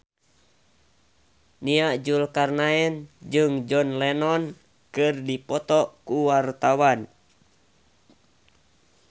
Nia Zulkarnaen jeung John Lennon keur dipoto ku wartawan